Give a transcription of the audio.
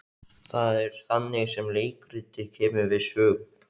Það er þannig sem leikritið kemur við sögu.